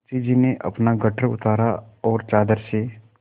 मुंशी जी ने अपना गट्ठर उतारा और चादर से